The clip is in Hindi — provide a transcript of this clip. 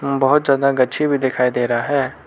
बहोत ज्यादा गच्छी भी दिखाई दे रहा है।